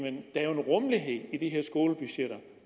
rummelighed i de her skolebudgetter